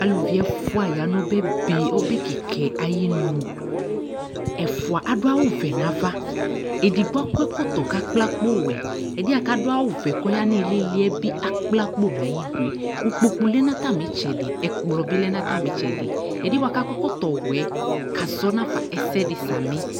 Aluvi ɛfʋa ya n'ɔbɛbe ɔbɛkɩkɛ ayinu Ɛfʋa adʋ awʋvɛ n'ava , edigbo akɔ ɛkɔtɔ k'asʋiakpowɛ , ɛdɩɛ ak'adʋ awʋvɛ kɔya n'ɩɩlïɩlɩ bɩ asʋɩakpo ikpoku lɛ , n'atamɩtsɛdɩ , ikplɔ bɩ lɛ n'atamɩtsɛdɩ ; ɛdɩɛ bʋa k'akɔ ǝkɔtɔwɛ kzzɔ n'afa ɛsɛdɩ samɩ